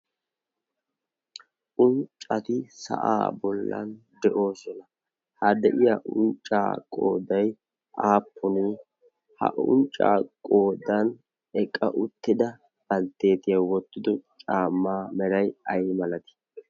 unccati sa'aa bollan de'oosona ha de'iya unccaaqoodai aappuni ha unccaaqoodan eqqa uttida baltteetiyau wottido caamaa merai ai malatii?